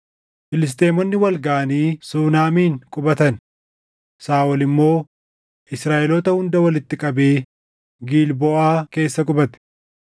Filisxeemonni wal gaʼanii Suunamin qubatan; Saaʼol immoo Israaʼeloota hunda walitti qabee Gilboʼaa keessa qubate.